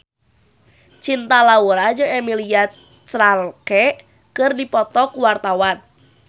Cinta Laura jeung Emilia Clarke keur dipoto ku wartawan